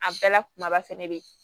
A bɛɛ la kumaba fɛnɛ bɛ yen